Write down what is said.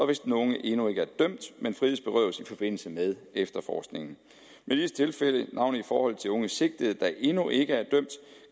hvis den unge endnu ikke er dømt men frihedsberøves i forbindelse med efterforskningen i disse tilfælde navnlig i forhold til unge sigtede der endnu ikke